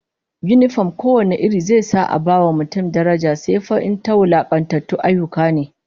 Yinifom ko wane iri zai sa a bai wa mutum daraja, sai fa in ta wulakantatun ayyuka ne